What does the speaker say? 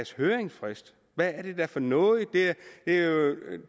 høringsfrist hvad er det da for noget det